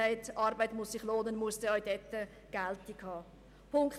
Die Aussage, Arbeit müsse sich lohnen, muss dann auch dort ihre Geltung haben.